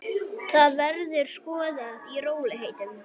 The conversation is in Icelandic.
Það verður skoðað í rólegheitum.